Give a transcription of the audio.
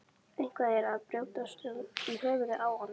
Eitthvað er að brjótast um í höfðinu á honum.